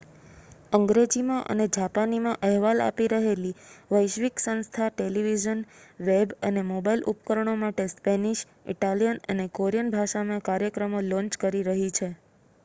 અંગ્રેજીમાં અને જાપાનીમાં અહેવાલ આપી રહેલી વૈશ્વિક સંસ્થા ટેલિવિઝન વેબ અને મોબાઇલ ઉપકરણો માટે સ્પેનિશ ઇટાલિયન અને કોરિયન ભાષામાં કાર્યક્રમો લૉન્ચ કરી રહી છે